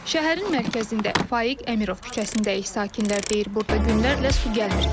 Şəhərin mərkəzində Faiq Əmirov küçəsindəki sakinlər deyir, burda günlərlə su gəlmir.